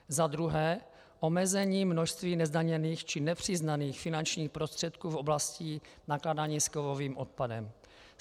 Za druhé omezení množství nezdaněných či nepřiznaných finančních prostředků v oblasti nakládání s kovovým odpadem.